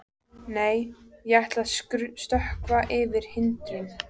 Nei, ég ætla að stökkva yfir hindrun.